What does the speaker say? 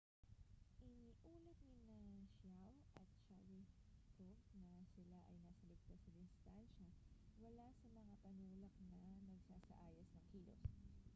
iniulat nina chiao at sharipov na sila ay nasa ligtas na distansya mula sa mga panulak na nagsasaayos ng kilos